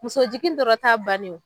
Muso jigin dɔrɔn t'a bannen ye